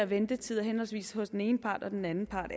ventetider henholdsvis hos den ene part og den anden part